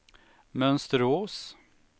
Mönsterås